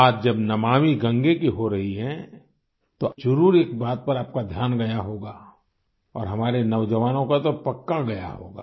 बात जब नमामि गंगे की हो रही है तो जरुर एक बात पर आपका ध्यान गया होगा और हमारे नौजवानों का तो पक्का गया होगा